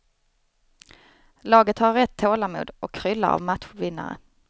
Laget har rätt tålamod och kryllar av matchvinnare.